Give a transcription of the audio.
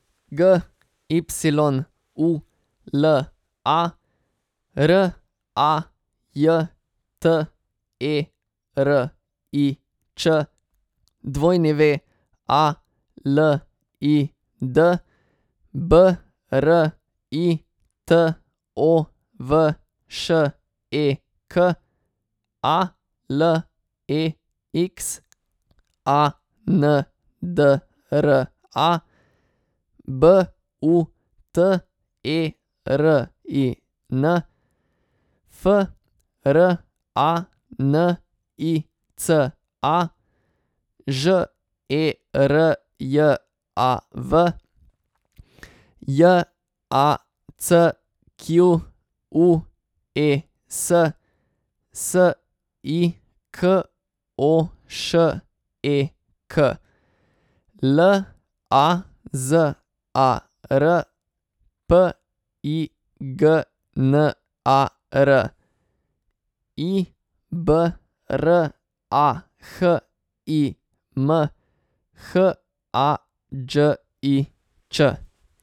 G Y U L A, R A J T E R I Č; W A L I D, B R I T O V Š E K; A L E X A N D R A, B U T E R I N; F R A N I C A, Ž E R J A V; J A C Q U E S, S I K O Š E K; L A Z A R, P I G N A R; I B R A H I M, H A Đ I Ć.